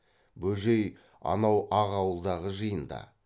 бөжей анау ақ ауылдағы жиында